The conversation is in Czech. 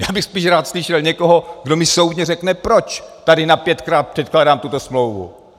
Já bych spíš rád slyšel někoho, kdo mi soudně řekne, proč tady na pětkrát předkládám tuto smlouvu.